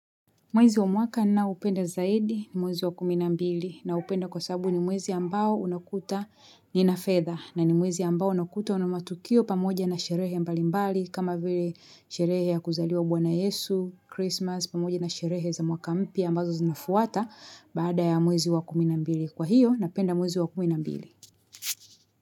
Mwezi wa mwaka ninaopenda zaidi ni mwezi wa kumi na mbili naupenda kwa sababu ni mwezi ambao unakuta nina fedha na ni mwezi ambao unakuta una matukio pamoja na sherehe mbalimbali kama vile sherehe ya kuzaliwa bwana yesu, Christmas pamoja na sherehe za mwaka mpya ambazo zinafuata baada ya mwezi wa kumi na mbili. Kwa hiyo napenda mwezi wa kumi na mbili.